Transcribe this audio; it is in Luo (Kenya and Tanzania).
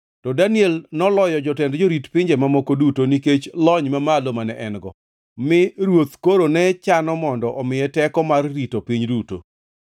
To Daniel noloyo jotend jorit pinje mamoko duto, nikech lony mamalo mane en-go, mi ruoth koro ne chano mondo omiye teko mar rito piny duto.